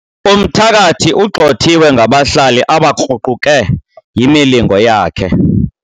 Umthakathi ugxothiwe ngabahlali abakruquke yimilingo yakhe.